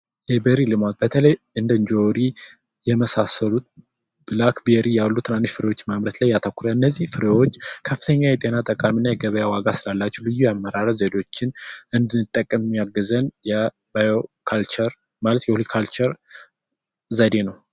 የቤሪ ልማት በተለይ እንደ ጆሪ የመሳሰሉት ብላክቤሪ ያሉት ትናንሽ ፍሬዎችን ማምረት ላይ ያተኮረ እነዚህ ፍሬዎች ከፍተኛ የጤና ጥቅም እና የገበያ ዋጋ ስላላቸው ልዩ የአመራረት ዘዴዎችን እንድንጠቀም የሚያግዘን የባዮ ካልቸር ማለት የሆሊካቸር ዘዴ ነው።